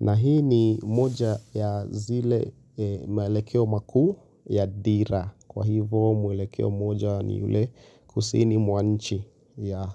Na hii ni moja ya zile maelekeo makuu ya dira. Kwa hivyo mwelekeo mmoja ni yule kusini mwa nchi ya.